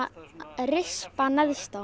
er rispa neðst á